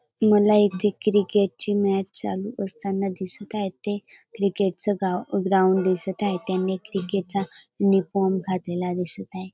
मला इथे क्रिकेटची मॅच चालू असताना दिसत आहे ते क्रिकेटच गा ग्राउंड दिसत आहे त्यांनी क्रिकेट चा उनिफॉर्म घातलेला दिसत आहे.